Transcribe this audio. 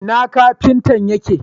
Ina Kafintan yake